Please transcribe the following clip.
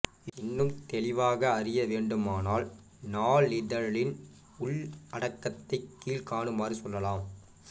இன்னும் தெளிவாக அறிய வேண்டுமானால் நாளிதழின் உள்ளடக்கத்தைக் கீழ்க்காணுமாறு சொல்லலாம்